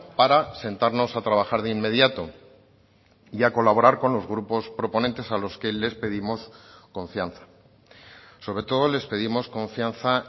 para sentarnos a trabajar de inmediato y a colaborar con los grupos proponentes a los que les pedimos confianza sobre todo les pedimos confianza